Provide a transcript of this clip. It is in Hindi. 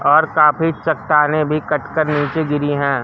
और काफी चट्टानें भी कट कर नीचे गिरी है।